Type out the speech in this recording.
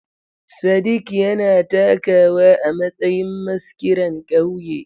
Sadik yana takawa a matsayin maskiran ƙauye.